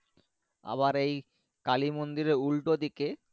আবার এই কালী মন্দির এর উল্টো দিকে।